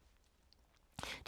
DR2